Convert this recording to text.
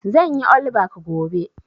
zanyi allback gobe